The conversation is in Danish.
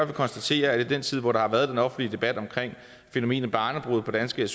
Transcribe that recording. konstatere at i den tid hvor der har været den offentlige debat om fænomenet barnebrude på danske